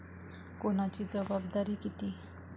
कोणाची जबाबदारी किती